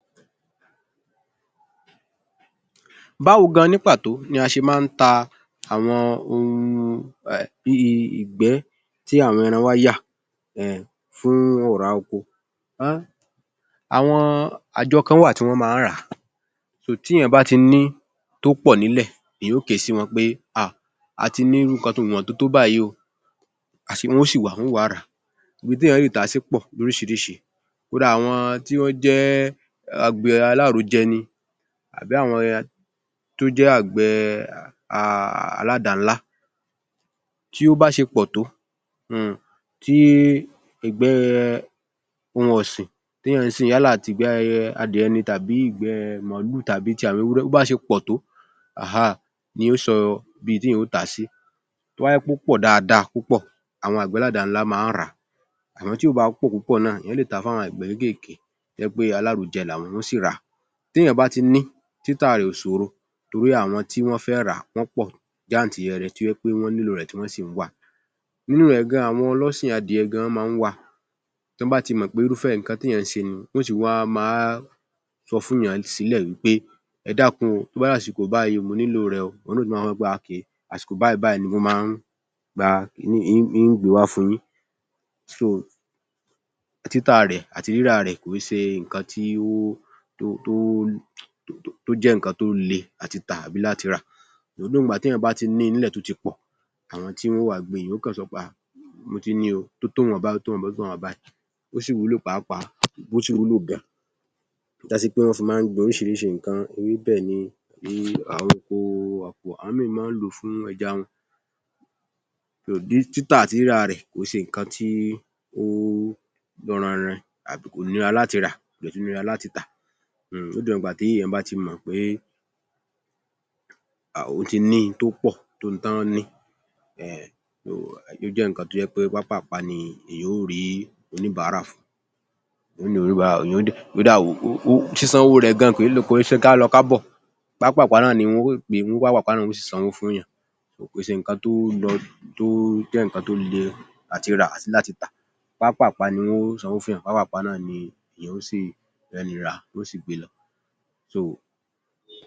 Báwo gan-an ní pàtó ni a ṣe máa ń ta àwọn ohun bí i ìbẹ́ tí àwọn ẹran wá yà fún ọ̀rá oko? Àwọn àjọ kan wà tí wọ́n máa ń rà á. Nítorí náà, tí èèyàn bá ti ní i tó pọ̀ nílẹ̀ èèyàn ó kè é sí wọn pé a ti ní ìwọ̀n tó tó báyìí o. A si wọ́n ó sì wà á, wọ́n ó wá rà á. Ibi ti èèyà le tà á sí pọ̀ lóríṣirísi. Kódà àwọn tí wọ́n jẹ́ àgbẹ̀ alárojẹ ni tàbí àọn tó jẹ́ àgbẹ̀ aládàá-ńlá. Tí ó bá ṣe pọ̀ tó, tí ìgbẹ́ ohun ọ̀sìn yálẹ̀ tìgbẹ́ adìẹ ni tàbí ìgbẹ màlúù tàbí ti àwọn ewúrẹ́ tí ó bá ṣe pọ̀ tó ni yóò sọ ibi tí èèyàn ó tà á sí. Tó bá jẹ́ pé ó pọ̀ dáadáa àwọn àgbẹ̀ aládàá-ńlá máa wah rà á. Àmọ́ tí kò bá pọ̀ púpọ̀ náà èèyàn le tà á fún àwọn àgbẹ̀ kékéèké tó jẹ́ wí pé alárojẹ làwọn. Wọ́n ó sì ra. Téẹ̀yàn bá ti ní títà rẹ̀ ò ṣòro torí àwọn tí wọ́n fẹ́ rà á wọ́n pọ̀ jáǹtirẹrẹ tó jé pé wọ́n nílò rẹ̀, tí wọ́n sì ń wá a. Nínú rè gan-an ni àwọn ọlọ́sìn adìẹ gan-an máa ń wá a. Tí wọ́n bah ti mọ̀ pé irúfẹ́ nǹkan tí èèyàn ń ṣe ni, wọ́n ó ti wá máa sọ fún-únyàn sílẹ̀ pé, ‘’ẹ dákun o, tó bá di àsìkò báyìí mo nílò rẹ̀ o’’. Òun ná a ní ó dáa àsìkò báyìí ni mo máa ń ra kíní ń gbe wá fún-un yín. So títà rẹ̀ àti rírà rẹ̀ kìí ṣe nǹkan tí ó jẹ́ nǹkan tó le àti tà àbi láti rà. Although téèyàn bá ti ní i nílẹ̀ tó ti pọ̀ àọñ tí wọn ó wá gbé e, èèyàn ó kàn sọ pe, ‘’a mo ti ní i o tó tó ìwọ̀nba báyìí tó tó ìwọ̀nba báyìí, ó sì wúlọ̀ pàápàá, ó sì wúlọ̀ gan-an. Ó já sí pé wọ́n fi máa nh gbin oríṣiríṣi nǹkan ewébẹ̀ ni, àwọn míì máa nh lò ó fún ẹja wọn. Títà àti rírà rẹ̀ kò ń ṣe nǹkan tí ó gbọnranranin, àbí kò nira láti ra. Kò dẹ̀ tún nira láti tà. Lódiwọ̀n ìgbà tí èèyàn bá ti mọ̀ pé òun ti ní i tó pọ̀ tó ohun tọ́n nílò, ó jẹ́ nǹkan tó jẹ́ pé pápáàpá ni èèyàn ó rìí oníbàárà fún un. Kódà sísan owó rẹ̀ gan-an kò ń ṣe kálọ kábọ̀. Pápáàpá ni wọn ó gbé e, pápáàpá náà ni wọn ó sì sànwó fún-ùnyàn. Kò n ṣe nǹkan to le láti rà tàbí láti tà. Pápáàpá ni wọn ó sànwó fún-ùnyàn. Pápáàpá náà ni èèyàn oh rẹni rà á, wọ́n ó sì gbe lọ.